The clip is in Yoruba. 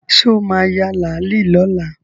Sọ ma ya làálí lọ́la?